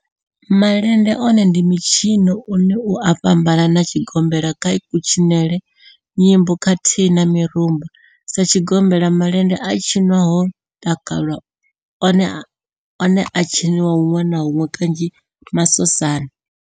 Malende one ndi mitshino une u a fhambana na tshigombela kha kutshinele, nyimbo khathihi na mirumba. Sa tshigombela, malende a tshinwa ho takalwa, one a a tshiniwa hunwe na hunwe kanzhi masosani.